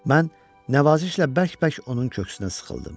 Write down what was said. Mən nəvazişlə bərk-bərk onun köksünə sıxıldım.